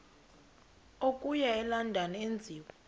okuya elondon enziwe